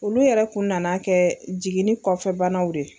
Olu yɛrɛ tun nana kɛ jigin ni kɔfɛbanaw de ye.